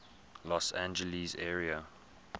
los angeles area